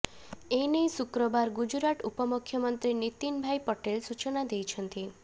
ଏନେଇ ଶୁକ୍ରବାର ଗୁଜୁରାଟ ଉପମୁଖ୍ୟମନ୍ତ୍ରୀ ନୀତିନ ଭାଇ ପଟେଲ୍ ସୂଚନା ଦେଇଛନ୍ତି